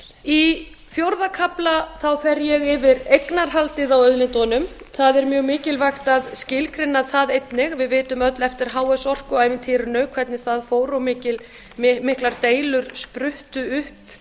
í fjórða kafla fer ég yfir eignarhaldið á auðlindunum það er mjög mikilvægt að skilgreina það einnig við munum öll eftir h s orku ævintýrinu hvernig það fór og miklar deilur spruttu upp